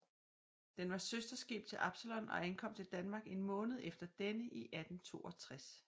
Den var søsterskib til Absalon og ankom til Danmark en måned efter denne i 1862